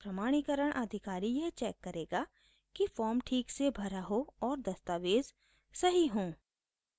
प्रमाणीकरण अधिकारी यह चेक करेगा कि फॉर्म ठीक से भरा हो और दस्तावेज़ सही हों